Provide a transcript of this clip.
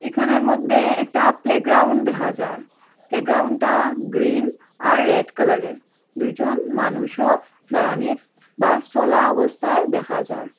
এখানের মধ্যে একটা প্লেগ্রাউন্ড দেখা যার প্লেগ্রাউন্ডটা গ্ৰিন আর রেড কালারের দুজন মানুষও দাঁড়ানিত বা চলা অবস্থায় দেখা যার।